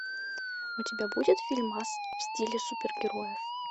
у тебя будет фильмас в стиле супергероев